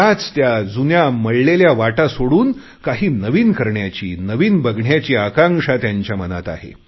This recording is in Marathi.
त्याच त्या जुन्या मळलेल्या वाटा सोडून काही नवीन करण्याची नवीन बघण्याची आकांक्षा त्यांच्या मनात आहे